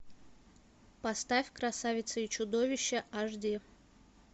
поставь красавица и чудовище аш ди